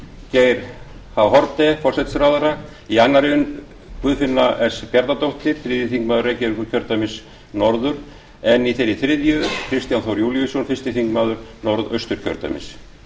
geir h haarde forsætisráðherra í annarri umferð guðfinna s bjarnadóttir þriðji þingmaður reykjavíkurkjördæmis norður en í þeirri þriðju kristján þór júlíusson fyrsti þingmaður norðausturkjördæmis